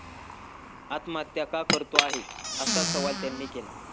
आत्महत्या का करतो आहे, असा सवाल त्यांनी केला.